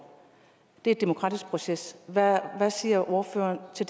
det er en demokratisk proces hvad siger ordføreren til